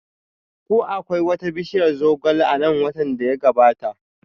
Ko akwai wata bishiyar zogale a nan watan da ya gabata?